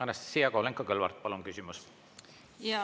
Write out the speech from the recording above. Anastassia Kovalenko-Kõlvart, palun küsimus!